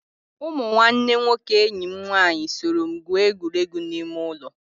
Ụmụ nwanne nwoke enyi m nwaanyị soro m gwuo egwuregwu ime ụlọ.